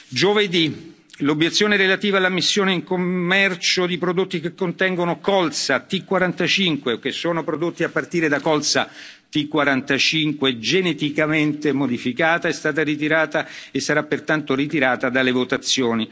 Giovedì L'obiezione relativa all'immissione in commercio dei prodotti che contengono colza T45 o che sono prodotti a partire da colza T45 geneticamente modificata è stata ritirata e sarà pertanto ritirata dalle votazioni.